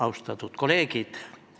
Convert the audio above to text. Austatud kolleegid!